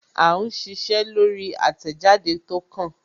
À ń ṣiṣẹ́ lórí àtẹ̀jáde tó kàn